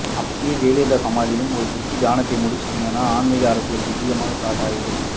அப்படியே ஜெயலலிதா சமாதியிலும் ஒரு குட்டி தியானத்தை முடிச்சுட்டிங்கன்னா ஆன்மீக அரசியல் திவ்யமா ஸ்டார்ட் ஆகிடும்